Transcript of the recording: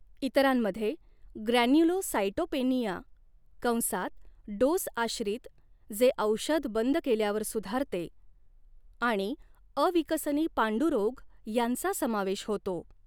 इतरांमध्ये ग्रॅन्युलोसाइटोपेनिया कंसात डोस आश्रित, जे औषध बंद केल्यावर सुधारते आणि अविकसनी पांडुरोग यांचा समावेश होतो.